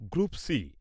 group